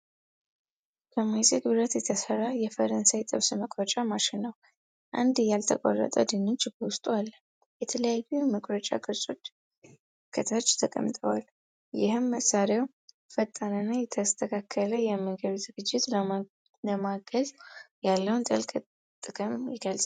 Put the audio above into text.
ከማይዝግ ብረት የተሰራ የፈረንሳይ ጥብስ መቁረጫ ማሽን ነው። አንድ ያልተቆራረጠ ድንች በውስጡ አለ። የተለያዩ የመቁረጫ ቅጦች ከታች ተቀምጠዋል። ይህም መሳሪያው ፈጣንና የተስተካከለ የምግብ ዝግጅት ለማገዝ ያለውን ትልቅ ጥቅም ይገልጻል።